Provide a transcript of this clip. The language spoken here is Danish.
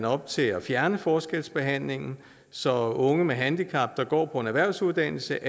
op til at fjerne forskelsbehandlingen så unge med handicap der går på en erhvervsuddannelse